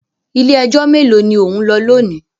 Ilé-ẹjọ́ mélòó ni ò ń lọ lónìí?